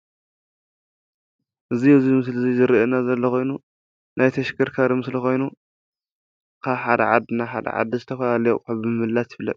እዚ ኣብዚ ምስሊ እዚ ዝረኣየና ዘሎ ኮይኑ ናይ ተሽከርካሪ ምስሊ ኮይኑ ካብ ሓደ ዓዲ ናብ ሐደ ዓዲ ዝተፈላለየ ኣቁሑ ብምምልላስ ይፍለጥ ።